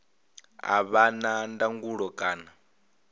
a vha na ndangulo kana